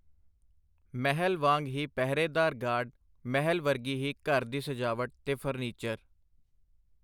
ਮਹਿਲ ਵਾਂਗ ਹੀ ਪਹਿਰੇਦਾਰ ਗਾਰਡ, ਮਹਿਲ ਵਰਗੀ ਹੀ ਘਰ ਦੀ ਸਜਾਵਟ ਤੇ ਫਰਨੀਚਰ.